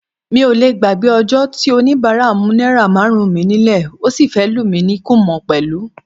Mi ò lé gbàgbé ọjọ́ tóníbàárà mú náírà márùn-ún mi nílẹ̀, ó sì fẹ́ lù mí ní kúmọ̀ pẹ̀lú.